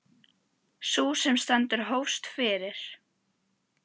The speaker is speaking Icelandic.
Sú sem nú stendur hófst fyrir